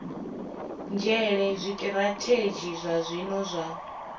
nzhele zwitirathedzhi zwa zwino zwa